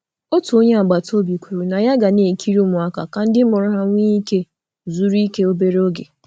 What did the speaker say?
Onye agbata obi kwere inyeaka lekọta ụmụaka ka nne na nna nne na nna nwee ike izuike obere oge.